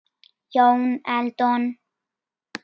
Jón Eldon